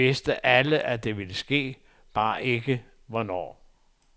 Vi vidste alle, at det ville ske, bare ikke hvornår.